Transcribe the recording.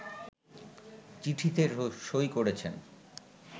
চিঠিতে সই করেছেন